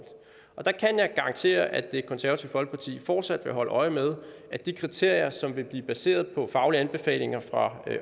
og der kan jeg garantere at det konservative folkeparti fortsat vil holde øje med at de kriterier som vil blive baseret på faglige anbefalinger fra